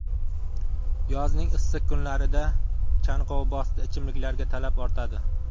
Yozning issiq kunlarida chanqovbosdi ichimliklarga talab ortadi.